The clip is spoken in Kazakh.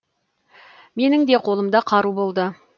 менің де қолымда қару болды